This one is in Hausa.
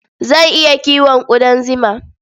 Zan iya kiwon ƙudan zima.